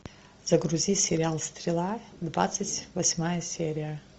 загрузи сериал стрела двадцать восьмая серия